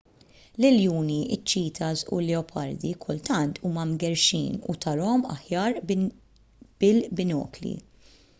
l-iljuni iċ-ċitas u l-leopardi kultant huma mgerrxin u tarahom aħjar bil-binokli